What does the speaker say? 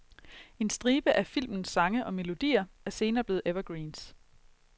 En stribe af filmenes sange og melodier er senere blevet evergreens.